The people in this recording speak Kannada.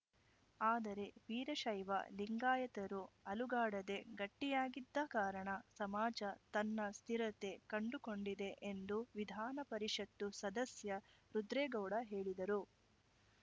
ಆದರೆ ವೀರಶೈವ ಲಿಂಗಾಯತರು ಅಲುಗಾಡದೇ ಗಟ್ಟಿಯಾಗಿದ್ದ ಕಾರಣ ಸಮಾಜ ತನ್ನ ಸ್ಥಿರತೆ ಕಂಡುಕೊಂಡಿದೆ ಎಂದು ವಿಧಾನಪರಿಷತ್ತು ಸದಸ್ಯ ರುದ್ರೇಗೌಡ ಹೇಳಿದರು